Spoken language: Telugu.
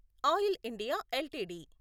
oil India LTD